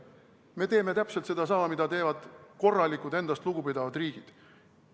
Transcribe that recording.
Me teeme täpselt sedasama, mida teevad korralikud, endast lugupidavad riigid.